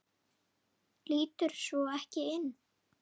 Líturðu svo ekki inn?